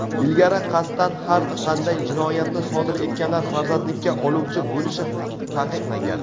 Ilgari qasddan har qanday jinoyatni sodir etganlar farzandlikka oluvchi bo‘lishi taqiqlangan.